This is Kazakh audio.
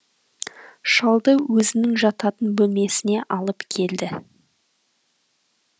шалды өзінің жататын бөлмесіне алып келді